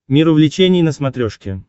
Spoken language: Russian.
мир увлечений на смотрешке